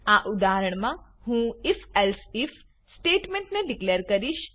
આ ઉદાહરણમા હું if એલ્સિફ સ્ટેટમેન્ટ ને ડીકલેર કરીશ